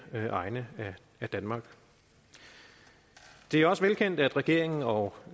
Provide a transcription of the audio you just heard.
egne af danmark det er også velkendt at regeringen og